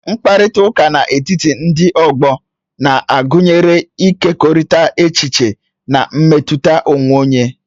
Mkparịta ụka n'etiti ndị ọgbọ na-agụnyekarị ịkekọrịta echiche na mmetụta onwe onye.